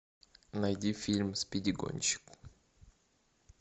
найди фильм спиди гонщик